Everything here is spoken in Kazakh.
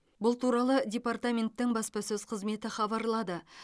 бұл туралы департаменттің баспасөз қызметі хабарлады